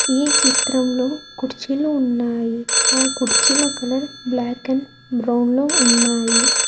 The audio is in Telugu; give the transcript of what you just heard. ఈ చిత్రంలో కుర్చీలు ఉన్నాయి ఆ కుర్చీల కలర్ బ్లాక్ అండ్ బ్రౌన్ లో ఉన్నాయి.